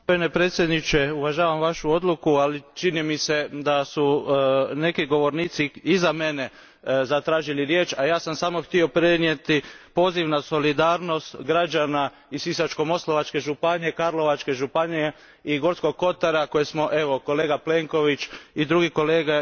Gospodine predsjedniče, uvažavam vašu odluku, ali čini mi se da su neki govornici iza mene zatražili riječ, a ja sam samo htio prenijeti poziv na solidarnost građana iz Sisačko moslavačke županije, Karlovačke županije i Gorskog kotara koje smo kolega Plenković i drugi kolega